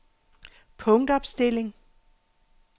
punktopstilling